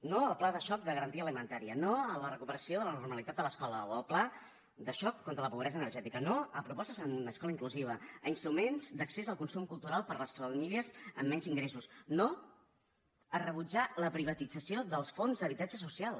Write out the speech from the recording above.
no al pla de xoc de garantia alimentària no a la recuperació de la normalitat de l’escola o al pla de xoc contra la pobresa energètica no a propostes en escola inclusiva a instruments d’accés al consum cultural per a les famílies amb menys ingressos no a rebutjar la privatització dels fons d’habitatge social